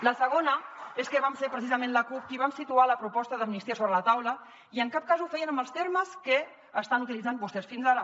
la segona és que vam ser precisament la cup qui vam situar la proposta d’amnistia sobre la taula i en cap cas ho fèiem amb els termes que estan utilitzant vostès fins ara